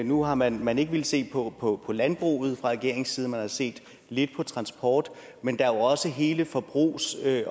nu har man man ikke villet se på på landbruget fra regeringens side men man har set lidt på transport men der er jo også hele forbrugssiden